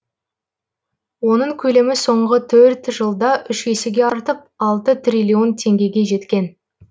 оның көлемі соңғы төрт жылда үш есеге артып алты триллион теңгеге жеткен